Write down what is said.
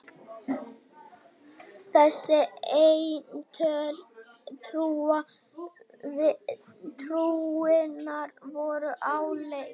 Þessi eintöl trúarinnar voru áleitin.